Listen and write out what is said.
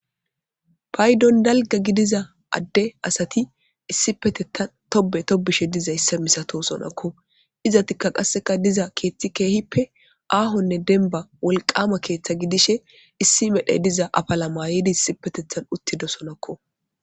Paydon dalga gidiza adde asati issipetetan tobe tobishe dizaysa misatosonako izatika qaseka diza kethi kehipe ahonne demiba wolqama ketha gidishe issi medhay diza afala mayidi issipetetan uthidosonako.